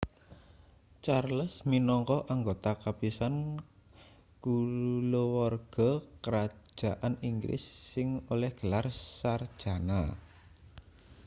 charles minangka anggota kapisan kulawarga krajan inggris sing oleh gelar sarjana